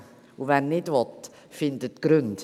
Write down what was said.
Und wer nicht will, findet Gründe.